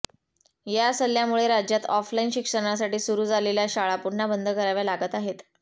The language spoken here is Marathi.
या सल्ल्यामुळे राज्यात ऑफलाइन शिक्षणासासाठी सुरू झालेल्या शाळा पुन्हा बंद कराव्या लागत आहेत